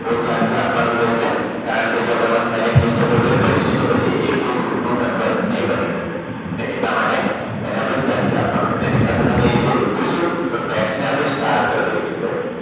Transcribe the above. બહુ ધ્યાનથી આપવાનું રહેશે કારણ કે જો આપણે આમાં spelling mistake વગેરે કરીશું તો પછી એ કોઈ group નો member નહીં બની શકે અને એટલા માટે તેને આપણે ધ્યાનથી આપવાનું છે અને એની સાથે સાથે અહી જોઈશું તો tax ને આપણે star કરી દઈશું